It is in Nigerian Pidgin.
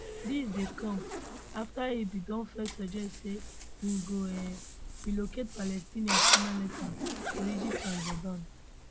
dis dey come afta im bin don first suggest say im go um relocate palestinians permanently to egypt and jordan